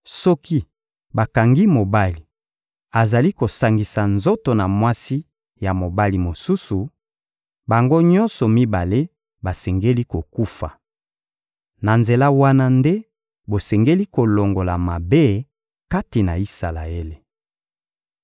Soki bakangi mobali azali kosangisa nzoto na mwasi ya mobali mosusu, bango nyonso mibale basengeli kokufa. Na nzela wana nde bosengeli kolongola mabe kati na Isalaele.